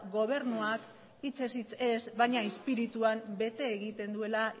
gobernuak hitzez hitz ez baina espirituan bete egiten duela